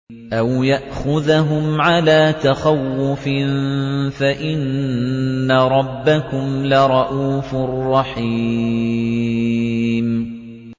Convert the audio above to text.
أَوْ يَأْخُذَهُمْ عَلَىٰ تَخَوُّفٍ فَإِنَّ رَبَّكُمْ لَرَءُوفٌ رَّحِيمٌ